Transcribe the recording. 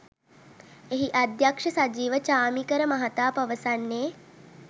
එහි අධ්‍යක්ෂ සජීව චාමීකර මහතා පවසන්නේ